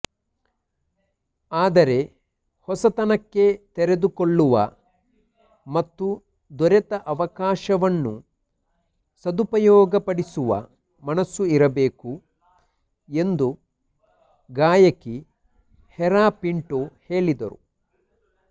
ಆದರೆ ಹೊಸತನಕ್ಕೆ ತೆರೆದುಕೊಳ್ಳುವ ಮತ್ತು ದೊರೆತ ಅವಕಾಶವನ್ನು ಸದುಪಯೋಗಪಡಿಸುವ ಮನಸ್ಸು ಇರಬೇಕು ಎಂದು ಗಾಯಕಿ ಹೆರಾ ಪಿಂಟೋ ಹೇಳಿದರು